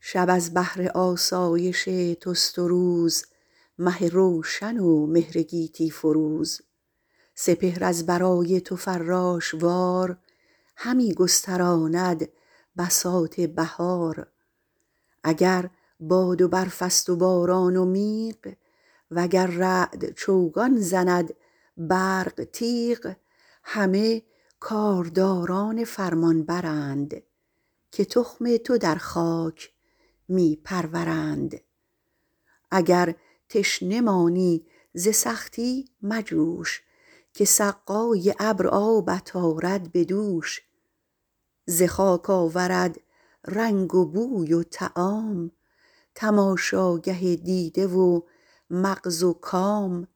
شب از بهر آسایش توست و روز مه روشن و مهر گیتی فروز سپهر از برای تو فراش وار همی گستراند بساط بهار اگر باد و برف است و باران و میغ وگر رعد چوگان زند برق تیغ همه کارداران فرمانبر ند که تخم تو در خاک می پرورند اگر تشنه مانی ز سختی مجوش که سقای ابر آبت آرد به دوش ز خاک آورد رنگ و بوی و طعام تماشاگه دیده و مغز و کام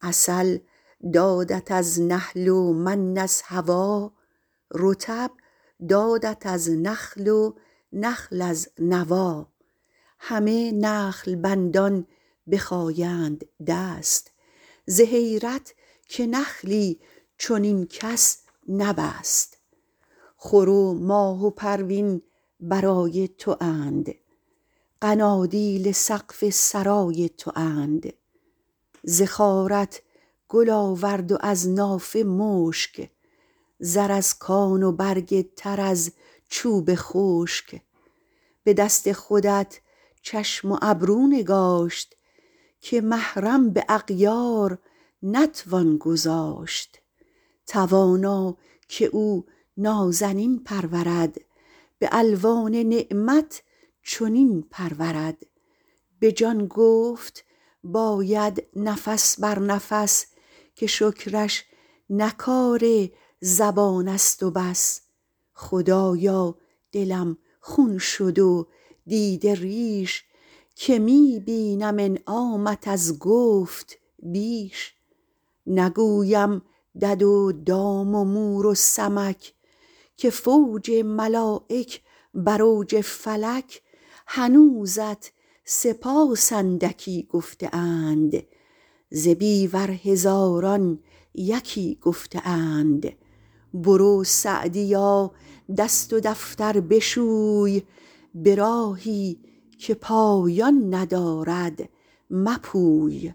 عسل دادت از نحل و من از هوا رطب دادت از نخل و نخل از نوی همه نخل بندان بخایند دست ز حیرت که نخلی چنین کس نبست خور و ماه و پروین برای تواند قنادیل سقف سرای تواند ز خارت گل آورد و از نافه مشک زر از کان و برگ تر از چوب خشک به دست خودت چشم و ابرو نگاشت که محرم به اغیار نتوان گذاشت توانا که او نازنین پرورد به الوان نعمت چنین پرورد به جان گفت باید نفس بر نفس که شکرش نه کار زبان است و بس خدایا دلم خون شد و دیده ریش که می بینم انعامت از گفت بیش نگویم دد و دام و مور و سمک که فوج ملایک بر اوج فلک هنوزت سپاس اندکی گفته اند ز بیور هزاران یکی گفته اند برو سعدیا دست و دفتر بشوی به راهی که پایان ندارد مپوی